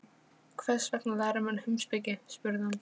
Hvers vegna læra menn heimspeki? spurði hann.